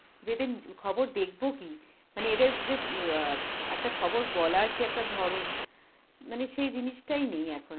যেদিন খবর দেখব কি, মানে এদের যে অ্যাঁ একটা খবর বলার যে একটা ধরন, মানে সেই জিনিসটাই নেই